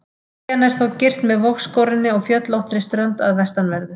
Eyjan er þó girt með vogskorinni og fjöllóttri strönd að vestanverðu.